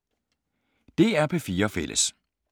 DR P4 Fælles